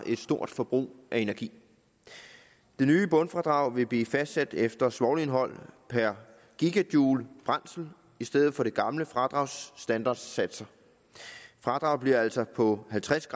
et stort forbrug af energi det nye bundfradrag vil blive fastsat efter svovlindhold per gj brændsel i stedet for det gamle fradrags standardsatser fradraget bliver altså på halvtreds